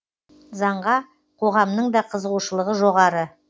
заңға қоғамның да қызығушылығы жоғары